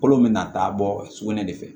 Kolo bɛ na taa bɔ sugunɛ de fɛ